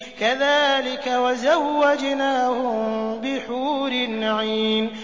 كَذَٰلِكَ وَزَوَّجْنَاهُم بِحُورٍ عِينٍ